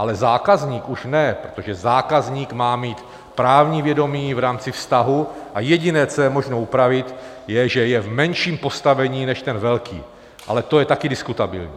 Ale zákazník už ne, protože zákazník má mít právní vědomí v rámci vztahu, a jediné, co je možné upravit, je, že je v menším postavení než ten velký, ale to je taky diskutabilní.